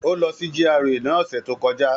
Ó lọ sí GRA ní ọ̀sẹ̀ tó kọjá.